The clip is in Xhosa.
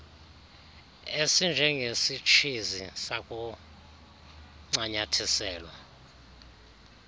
esinje ngesitshizi sakuncanyathiselwa